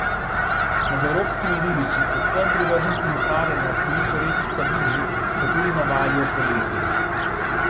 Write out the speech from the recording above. Med evropskimi ribiči, predvsem privrženci muharjenja slovi po reki Savinji, h kateri navalijo poleti.